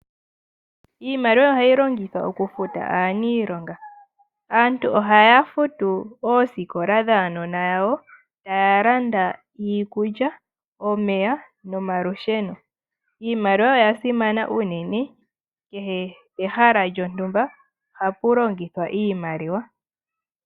Iimaliwa ohayi longithwa oku futa aaniilonga. Aantu ohaya futu oosikola dhaanona yawo. Ohaya landa iikulya omeya nomalusheno. Iimaliwa oya simana ununene kehe pehala lyontumba ohapu longithwa iimaliwa.